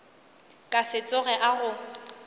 ka se tsoge a go